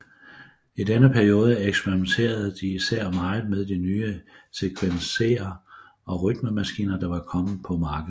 I denne periode eksperimenterede de især meget med de nye sequencere og rytmemaskiner der var kommet på markedet